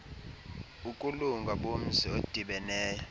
ukulunga bomzi odibeneyo